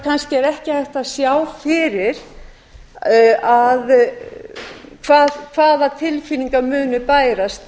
kannski er ekki hægt að sjá fyrir hvaða tilfinningar muni bærast